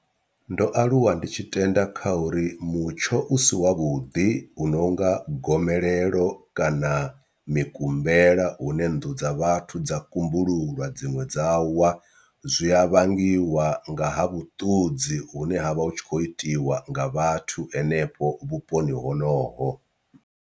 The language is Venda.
Ndo aluwa ndi tshi tenda kha uri mutsho u si wavhuḓi uno nga gomelelo kana mikumbela hune nnḓu dza vhathu dza kumbululwa dziṅwe dza wa, zwi a vhangiwa nga ha vhuṱudzi hune ha vha hu tshi khou itiwa nga vhathu hanefho vhuponi honoho.